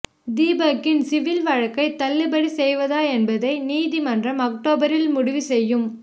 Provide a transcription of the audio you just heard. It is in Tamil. தீபக்கின் சிவில் வழக்கைத் தள்ளுபடி செய்வதா என்பதை நீதிமன்றம் அக்டோபரில் முடிவு செய்யும்